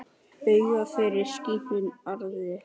Auðna fylgir slíkum arði.